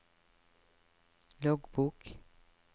loggbok